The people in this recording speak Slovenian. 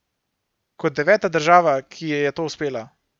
Kot deveta država, ki ji je to uspelo.